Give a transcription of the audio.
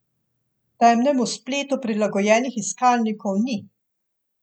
Temnemu spletu prilagojenih iskalnikov ni.